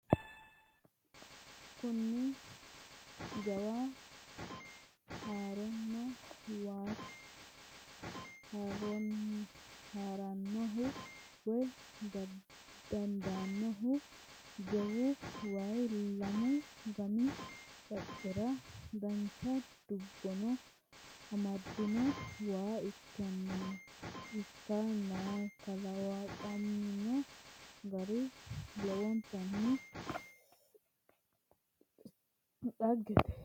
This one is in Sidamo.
Kuni jawa haranno waati. Harannohu woy daadannohu jawu waayi lamu gami qaccera dancha dubno amadino waa ikkannakalaqamino gari lowontanni dhaggete.